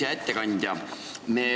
Hea ettekandja!